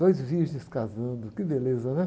Dois virgens casando, que beleza, né?